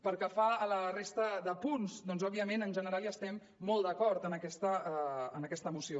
pel que fa a la resta de punts doncs òbviament en general estem molt d’acord amb aquesta moció